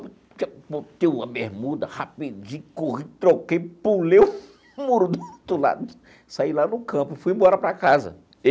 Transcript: Botei uma bermuda rapidinho, corri, troquei, pulei o muro do outro lado, saí lá no campo, fui embora para a casa.